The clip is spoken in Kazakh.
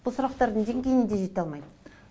бұл сұрақтардың деңгейіне дейін де жете алмайды